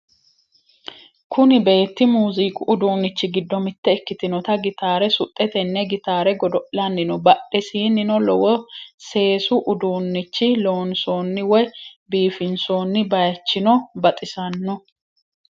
Kuni beetti muuziiqu udunnichi giddo mitto ikkitinnota gitaare suxxe tenne gitaare godo'lanni no. badhesinnino lowo seesu uduunnichinni loonsonni woy biifinsonni bayichino baxissanno.